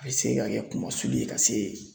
A bɛ se ka kɛ kumasulu ye ka se